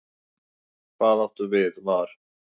Hvað áttu við var?